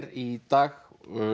í dag